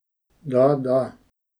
Da, da!